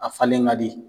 A falen ka di